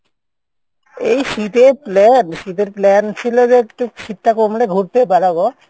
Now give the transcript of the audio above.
এই শীতের plan? শীতের plan ছিল যে একটু শীত টা কমলে ঘুরতে বেরাবো